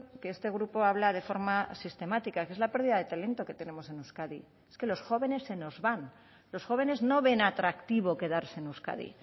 que este grupo habla de forma sistemática que es la pérdida de talento que tenemos en euskadi es que los jóvenes se nos van los jóvenes no ven atractivo quedarse en euskadi